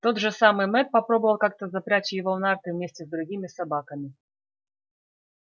тот же самый мэтт попробовал как то запрячь его в нарты вместе с другими собаками